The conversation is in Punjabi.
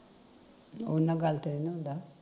ਉਨਾਂ ਗਲਤ ਨੀ ਹੁੰਦਾ